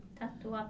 Tatuar.